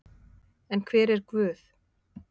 En hver er Guð?